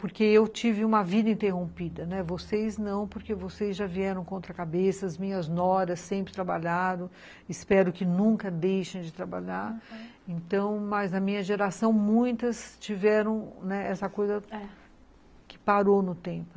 Porque eu tive uma vida interrompida, vocês não, porque vocês já vieram contra a cabeça, as minhas noras sempre trabalharam, espero que nunca deixem de trabalhar, aham, mas na minha geração, muitas tiveram, né, é, essa coisa que parou no tempo.